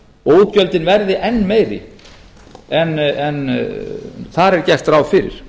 og útgjöldin verði enn meiri en þar er gert ráð fyrir